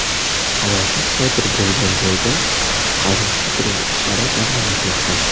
Halokat sodir bo‘lgan joyda qutqaruv-qidiruv ishlari davom etmoqda.